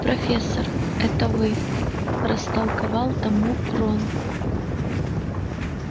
профессор это вы растолковал тому рон